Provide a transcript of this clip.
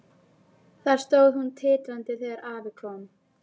Þar stóð hún titrandi þegar afi kom.